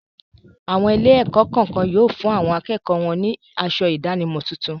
Àwọn ilé-ẹ̀kọ́ kan yóò fún àwọn akẹ́kọ̀ọ́ wọn ní asọ ìdánimọ̀ tuntun.